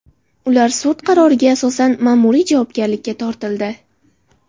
Ular sud qaroriga asosan ma’muriy javobgarlikka tortildi.